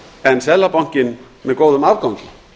en seðlabankinn með góðum afgangi